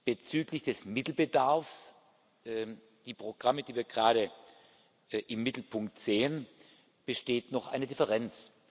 Bezüglich des Mittelbedarfs für die Programme, die wir gerade im Mittelpunkt sehen, besteht noch eine Differenz.